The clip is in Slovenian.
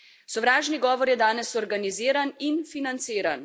Sovražni govor je danes organiziran in financiran.